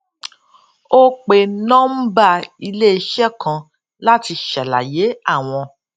ó pe nọmbà íléiṣé kan láti ṣàlàyé àwọn